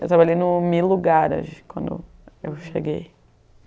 Eu trabalhei no MeLugar quando eu cheguei.